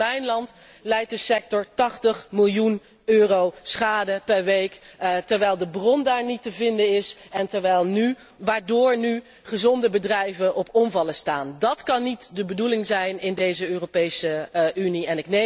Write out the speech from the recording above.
Alleen al in mijn land lijdt de sector 80 miljoen euro schade per week, terwijl de bron daar niet te vinden is en waardoor nu gezonde bedrijven op omvallen staan. Dat kan niet de bedoeling zijn in deze Europese Unie.